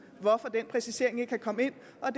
hvorfor den præcisering ikke kan komme